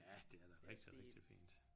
Ja det er da rigtig rigtig fint